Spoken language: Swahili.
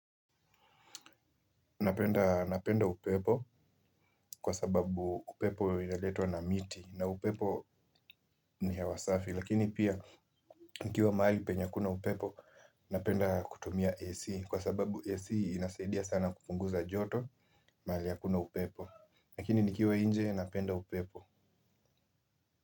Napenda napenda upepo kwa sababu upepo inaletwa na miti na upepo ni hewa safi lakini pia nikiwa mahali penye hakuna upepo. Napenda kutumia AC kwa sababu AC inasaidia sana kupunguza joto. Mahali hakuna upepo. Lakini nikiwa nje napenda upepo.